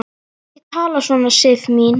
Ekki tala svona, Sif mín!